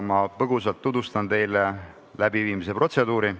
Ma põgusalt tutvustan teile protseduuri.